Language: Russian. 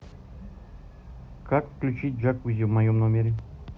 как включить джакузи в моем номере